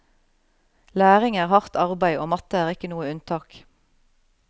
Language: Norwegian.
Læring er hardt arbeid og matte er ikke noe unntak.